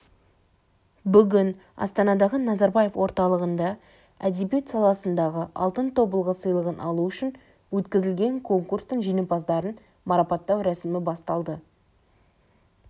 бүгін астанадағы назарбаев орталығында әдебиет саласындағы алтын тобылғы сыйлығын алу үшін өткізілген конкурстың жеңімпаздарын марапаттау рәсімібасталды